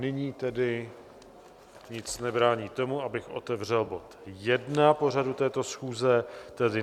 Nyní tedy nic nebrání tomu, abych otevřel bod jedna pořadu této schůze, tedy